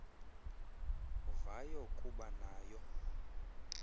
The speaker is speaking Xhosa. vayo kuba nayo